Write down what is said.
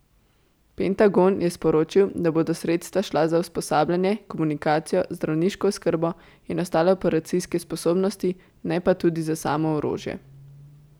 Pentagon je sporočil, da bodo sredstva šla za usposabljanje, komunikacijo, zdravniško oskrbo in ostale operacijske sposobnosti, ne pa tudi za samo orožje.